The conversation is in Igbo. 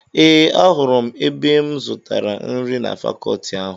Ee, ahụrụ m ebe m zutara nri na fakọọti ahụ.